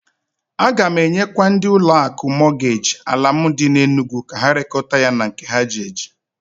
A ga m enyekwa ndị ụlọ akụ Mọtgeji ala m dị n'Enugu ka ha rekota ya na nke ha ji eji.